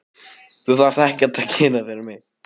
Þú þarft ekkert að gera fyrir mig.